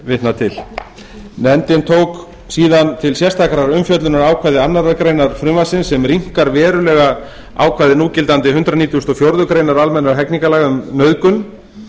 vitnað til nefndin tók til sérstakrar umfjöllunar ákvæði annarrar greinar frumvarpsins sem rýmkar verulega ákvæði núgildandi hundrað nítugasta og fjórðu grein almennra hegningarlaga um nauðgun